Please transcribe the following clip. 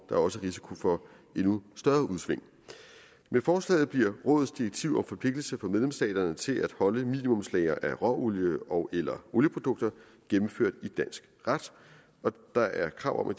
er også risiko for endnu større udsving med forslaget bliver rådets direktiv om forpligtelse for medlemsstaterne til at holde minimumslagre af råolie ogeller olieprodukter gennemført i dansk ret og der er krav om at